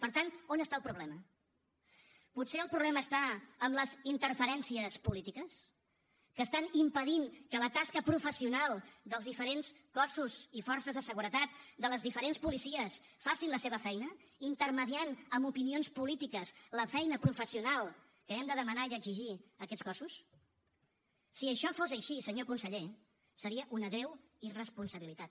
per tant on està el problema potser el problema està en les interferències polítiques que estan impedint que la tasca professional dels diferents cossos i forces de seguretat de les diferents policies facin la seva feina intermediant amb opinions polítiques la feina professional que hem de demanar i exigir a aquests cossos si això fos així senyor conseller seria una greu irresponsabilitat